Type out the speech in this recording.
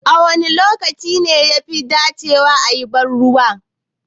Wane lokaci ne yafi dacewa a yi banruwa?